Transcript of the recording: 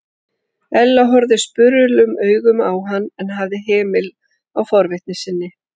Ella horfði spurulum augum á hann en hafði hemil á forvitni sinni.